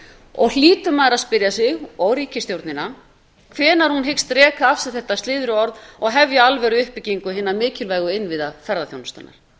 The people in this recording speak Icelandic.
og hlýtur maður að spyrja sig og ríkisstjórnina hvenær hún hyggist reka af sér þetta slyðruorð og hefja alvöruuppbyggingu hinna mikilvægu innviða ferðaþjónustunnar